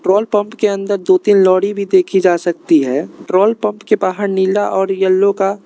petrol pump के अंदर दो तीन लोहड़ी भी देखी जा सकती है पेट्रोल पंप के बाहर नीला और येलो का--